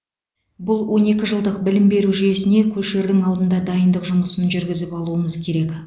бұл он екі жылдық білім беру жүйесіне көшердің алдында дайындық жұмысын жүргізіп алуымыз керек